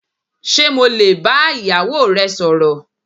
Ṣé mo lè bá ìyàwó rẹ sọ̀rọ̀.